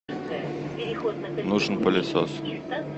нужен пылесос